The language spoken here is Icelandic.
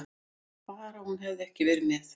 Bara hún hefði ekki verið með.